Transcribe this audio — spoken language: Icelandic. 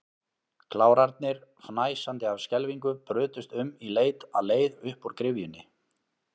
Klárarnir, fnæsandi af skelfingu, brutust um í leit að leið upp úr gryfjunni.